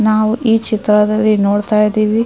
ನಾವು ಈ ಚಿತ್ರದಲ್ಲಿ ನೋಡುತ್ತಾ ಇದೀವಿ--